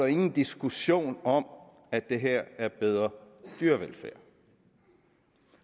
ingen diskussion om at det her er bedre dyrevelfærd